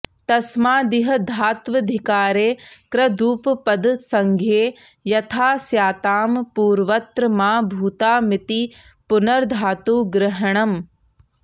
तसमादिह धात्वधिकारे कृदुपपदसंज्ञे यथा स्यातां पूर्वत्र मा भूतामिति पूनर्धातुग्रहणम्